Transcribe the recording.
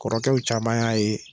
Kɔrɔkɛw caman y'a ye.